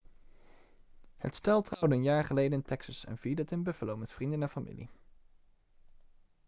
het stel trouwde een jaar geleden in texas en vierde het in buffalo met vrienden en familie